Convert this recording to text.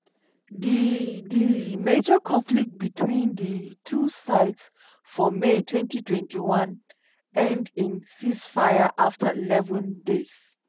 di di major conflict between di two sides for may 2021 end in ceasefire afta eleven days.